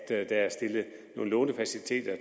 er stillet nogle lånefaciliteter